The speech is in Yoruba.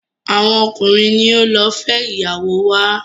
awọn ọkunrin ni o ló fé ìyàwó wa.